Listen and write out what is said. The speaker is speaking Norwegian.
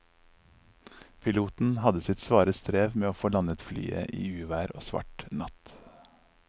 Piloten hadde sitt svare strev med å få landet flyet i uvær og svart natt.